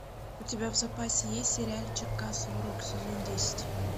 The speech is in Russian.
у тебя в запасе есть сериальчик касл рок сезон десять